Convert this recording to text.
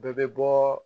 Bɛɛ bɛ bɔɔɔ